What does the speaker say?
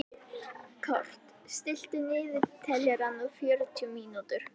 Kort (mannsnafn), stilltu niðurteljara á fjörutíu mínútur.